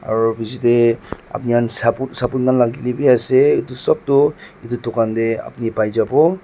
aru piche teh apuni khan sapun lagile wii ase itu sop tu itu dukan teh apuni pai jabo.